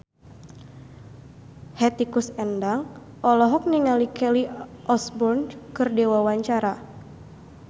Hetty Koes Endang olohok ningali Kelly Osbourne keur diwawancara